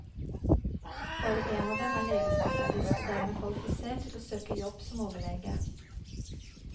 Bare en av dem er legespesialist og dermed kvalifisert til å søke jobb som overlege.